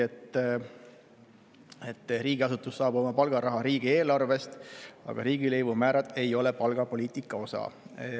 Riigiasutus saab küll oma palgaraha riigieelarvest, aga riigilõivumäärad ei ole palgapoliitika osa.